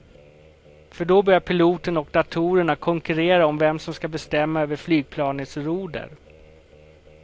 För då börjar piloten och datorerna konkurrera om vem som ska bestämma över flygplanets roder.